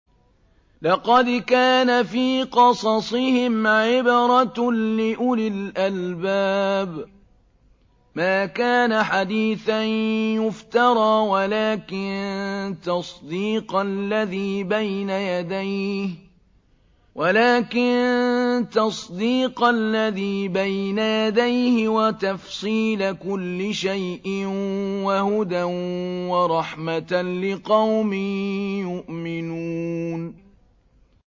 لَقَدْ كَانَ فِي قَصَصِهِمْ عِبْرَةٌ لِّأُولِي الْأَلْبَابِ ۗ مَا كَانَ حَدِيثًا يُفْتَرَىٰ وَلَٰكِن تَصْدِيقَ الَّذِي بَيْنَ يَدَيْهِ وَتَفْصِيلَ كُلِّ شَيْءٍ وَهُدًى وَرَحْمَةً لِّقَوْمٍ يُؤْمِنُونَ